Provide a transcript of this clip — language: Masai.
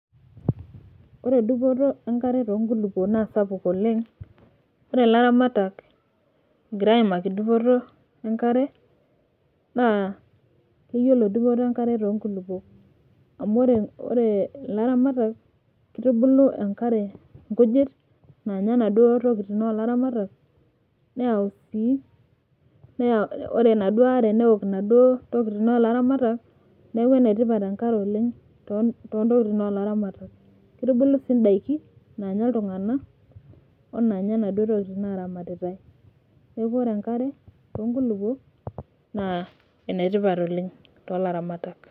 ore dupoto enkare too nkulupuokk naa sapuk oleng, ore ilaramatak egira aimaki dupoto enkare. naa keyiolo dupoto enkare too nkulupuok. amu ore ilaramatak kitubulu enkare, nkujit naanya inaduoo tokitin oolaramatak, neyau sii ore enaduo are neok inaduoo tokitin oolaramatak. neeku ene tipat enkare oleng, too ntokitin oolaramatak, kitubulu sii daiki naanya iltunganak. onaanya inaduoo tokitin naaramatitae. neeku ore enkare too nkulupuk naa ene tipat oleng toolaramatak.